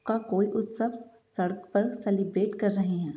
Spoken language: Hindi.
का कोई उत्सव सड़क पर सेलिब्रेट कर रहे हैं।